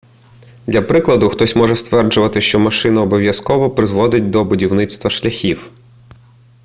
для прикладу хтось може стверджувати що машина обов'язково призводить до будівництва шляхів